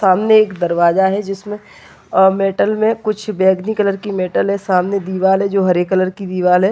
सामने एक दरवाजा हैं जिसमें अ मेटल में कुछ बैगनी कलर की मेटल हैं सामने दिवाल जो हरे कलर की दिवाल हैं।